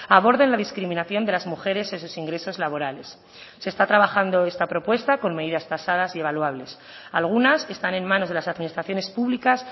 aborden la discriminación de las mujeres esos ingresos laborales se está trabajando esta propuesta con medidas tasadas y evaluables algunas están en manos de las administraciones públicas